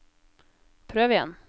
prøv igjen